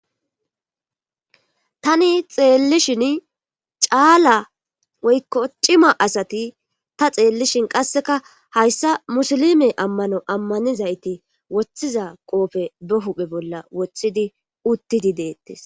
tani xeellishin caala woykko cima asati ta xeellishin qasseka hayssa musilime ammano ammanizayti woththiza qoofe be huphe bolla woththidi uttidi deettes